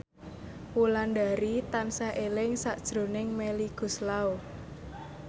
Wulandari tansah eling sakjroning Melly Goeslaw